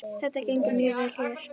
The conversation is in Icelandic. Þetta gengur mjög vel hérna.